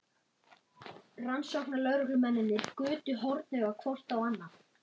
Rannsóknarlögreglumennirnir gutu hornauga hvort á annað.